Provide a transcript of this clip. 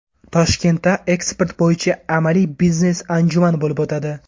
Toshkentda eksport bo‘yicha amaliy biznes-anjuman bo‘lib o‘tadi.